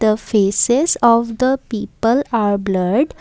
The faces of the people are blurred.